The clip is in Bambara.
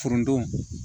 Foronto